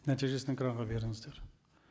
нәтижесін экранға беріңіздер